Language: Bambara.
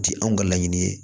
Ti anw ka laɲini ye